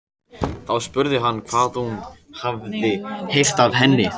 Þá spurði hann hvað hún hefði heyrt af henni.